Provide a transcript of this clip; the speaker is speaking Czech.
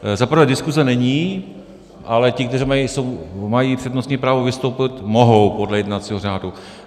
Za prvé diskuse není, ale ti, kteří mají přednostní právo, vystoupit mohou podle jednacího řádu.